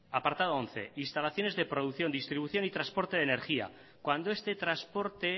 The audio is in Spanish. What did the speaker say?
apartado once instalaciones de producción distribución y transporte de energía cuando este transporte